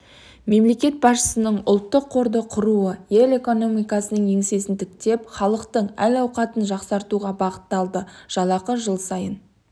мемлекет басшысының ұлттық қорды құруы ел экономикасының еңсесін тіктеп халықтың әл-ауқатын жақсартуға бағытталды жалақы жыл сайын